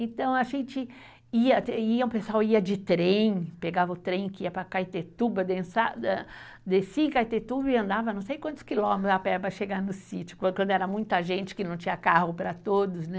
Então a gente ia, iam o pessoal ia de trem, pegava o trem que ia para Caetetuba, descia em Caetetuba e andava não sei quantos quilômetros a pé para chegar no sítio, quando era muita gente que não tinha carro para todos, né?